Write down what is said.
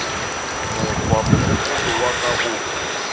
mokgwa mogopolo wa ka o